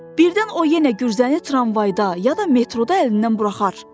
Birdən o yenə gürzəni tramvayda, ya da metroda əlindən buraxar.